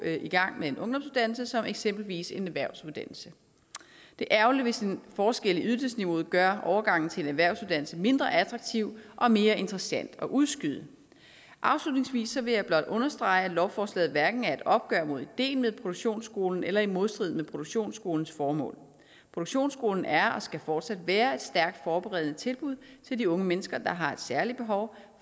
i gang med en ungdomsuddannelse som eksempelvis en erhvervsuddannelse det er ærgerligt hvis en forskel i ydelsesniveauet gør overgangen til en erhvervsuddannelse mindre attraktiv og mere interessant at udskyde afslutningsvis vil jeg blot understrege at lovforslaget hverken er et opgør med ideen med produktionsskolen eller er i modstrid med produktionsskolens formål produktionsskolen er og skal fortsat være et stærkt forberedende tilbud til de unge mennesker der har et særligt behov